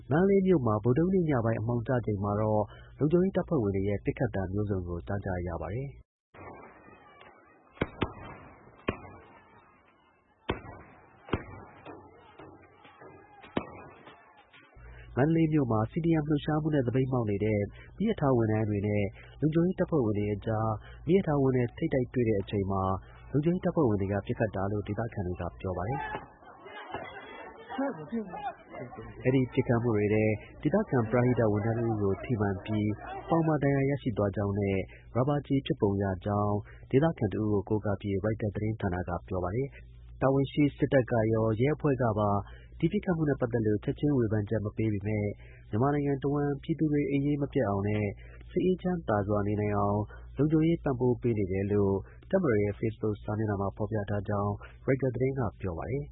မန္တလေးမြို့မှာ ဗုဒ္ဓဟူးနေ့ ညပိုင်း အမှောင်ကျချိန်မှာ လုံခြုံရေးတပ်ဖွဲ့တွေက ပစ်ခတ် သံမျိုးစုံကို ကြားကြရပါတယ်။ မန္တလေးမြို့မှာ CDM လှုပ်ရှားမှုနဲ့ သပိတ်မှောက်နေတဲ့ မီးရထား ဝန်ထမ်းတွေနဲ့ လုံခြုံရေးတပ်ဖွဲ့တွေမီးရထားဝင်းထဲထိပ်တိုက်တွေ့တဲ့ အချိန်မှာ လုံခြုံရေးတပ်ဖွဲ့တွေက ပစ်ခတ်တာလို့ ဒေသခံတွေက ပြောပါတယ်။ ဒါဇင်နဲ့ ချီတဲ့ ပစ်ခတ်သံတွေကို ကြားကြတွေ ကြားကြရတာပါ။ အဲဒီ ပစ်ခတ်မှုတွေထဲ ဒေသခံ ပရဟိတ ဝန်ထမ်းတစ်ဦးကို ထိပြီး ပေါင်မှာ ဒဏ်ရာရသွားကြောင်းနဲ့ ရာဘာကျည် ဖြစ်ပုံရကြောင်း ဒေသခံတစ်ဦးကို ကိုးကားပြီး ရိုက်တာ သတင်းက ပြောပါတယ်။ တာဝန်ရှိ စစ်တပ်ကရော ရဲအဖွဲ့ကပါ ဒီ ပစ်ခတ်မှုနဲ့ ပတ်သက်လို့ ချက်ချင်း ဝေဖန်ချက် မပေးပေမဲ့ မြန်မာနိုင်ငံတစ်ဝှမ်း ပြည်သူတွေ အိပ်ရေးမပျက်အောင်နဲ့ စိတ်အေးချမ်းသာစွာ နေနိုင်အောင် လုံခြုံရေး ပံပိုးပေးနေတယ်လို့ တပ်မတော်ရဲ့ Facebook စာမျက်နှာမှာ ဖော်ပြထားကြောင်း ရိုက်တာ သတင်းက ပြောပါတယ်